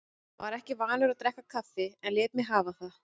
Var ekki vanur að drekka kaffi en lét mig hafa það.